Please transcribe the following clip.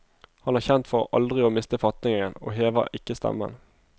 Han er kjent for aldri å miste fatningen, og hever ikke stemmen.